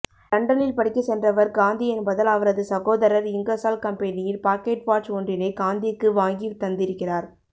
லண்டனில் படிக்க சென்றவர் காந்தி என்பதால் அவரது சகோதரர் இங்கர்சால் கம்பெனியின் பாக்கெட் வாட்ச் ஒன்றினை காந்திக்கு வாங்கி தந்திருக்கிறார்